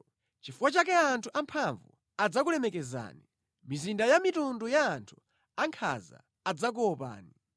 Nʼchifukwa chake anthu amphamvu adzakulemekezani; mizinda ya mitundu ya anthu ankhanza idzakuopani.